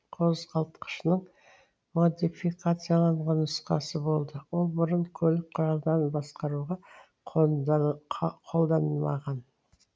қозғалтқышының модификацияланған нұсқасы болды ол бұрын көлік құралдарын басқаруға қолданылмаған